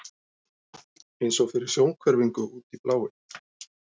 eins og fyrir sjónhverfingu, út í bláinn.